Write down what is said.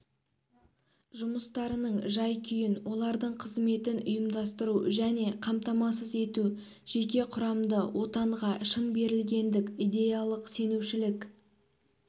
жұмыстарының жай-күйін олардың қызметін ұйымдастыру және қамтамасыз ету жеке құрамды отанға шын берілгендік идеялық сенушілік